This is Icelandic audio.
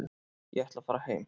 Ég ætla að fara heim.